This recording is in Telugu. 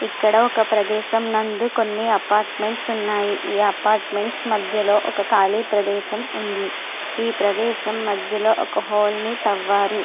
ఇక్కడ ఒక ప్రదేశం నందు కొన్ని అపార్ట్మెంట్స్ ఉన్నాయి. ఈ అపార్ట్మెంట్స్ మధ్యలో ఒక కాళీ ప్రదేశం ఉంది. ఈ ప్రదేశం మధ్యలో ఒక హోలు ని తవ్వారు.